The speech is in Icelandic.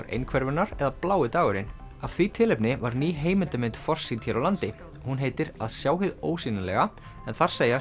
einhverfunnar eða blái dagurinn af því tilefni var ný heimildarmynd forsýnd hér á landi hún heitir að sjá hið ósýnilega en þar segja